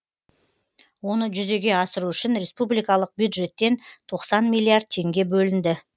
оны жүзеге асыру үшін республикалық бюджеттен тоқсан миллиард теңге бөлінді